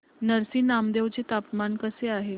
नरसी नामदेव चे तापमान कसे आहे